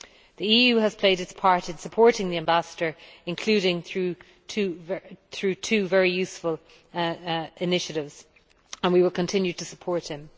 The EU has played its part in supporting the Ambassador, including through two very useful initiatives, and we will continue to support him.